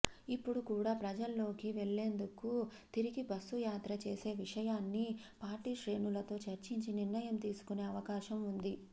ఇప్పుడు కూడా ప్రజల్లోకి వెళ్లేందుకు తిరిగి బస్సు యాత్ర చేసే విషయాన్ని పార్టీశ్రేణులతో చర్చించి నిర్ణయం తీసుకునే అవకాశం ఉంది